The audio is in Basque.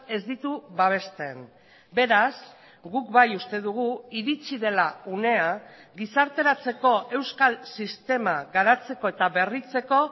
ez ditu babesten beraz guk bai uste dugu iritsi dela unea gizarteratzeko euskal sistema garatzeko eta berritzeko